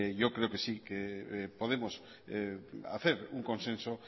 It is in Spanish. yo creo que sí podemos hacer un consenso